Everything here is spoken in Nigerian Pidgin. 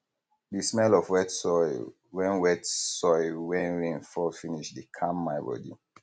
the smell of wet soil wen wet soil wen rain fall finish dey calm my bodi